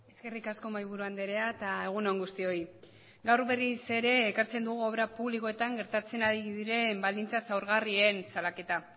eskerrik asko mahaiburu andrea eta egun on guztioi gaur berriz ere ekartzen dugu obra publikoetan gertatzen ari diren baldintza zaurgarrien salaketa